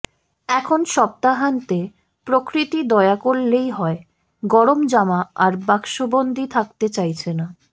এখন সপ্তাহান্তে প্রকৃতি দয়া করলেই হয় গরম জামা আর বাক্সবন্দি থাকতে চাইছে না